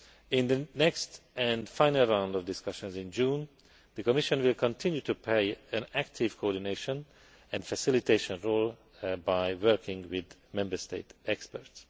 In the next and final round of discussions in June, the Commission will continue to play an active coordination and facilitation role by working with Member State experts.